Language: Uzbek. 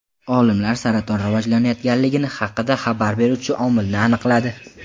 Olimlar saraton rivojlanayotganligi haqida xabar beruvchi omilni aniqladi.